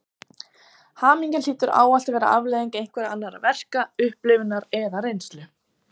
Hamingjan hlýtur ávallt að vera afleiðing einhverra annarra verka, upplifunar eða reynslu.